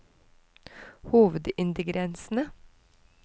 hovedingrediensene